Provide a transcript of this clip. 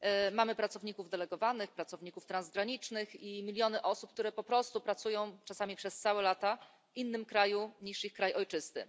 Mamy pracowników delegowanych, pracowników transgranicznych i miliony osób, które po prostu pracują czasami przez całe lata w innym kraju niż ich kraj ojczysty.